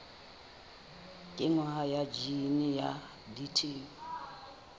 kenngwa ha jine ya bt